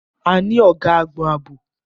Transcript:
A ní ọ̀gá àgbon ààbò.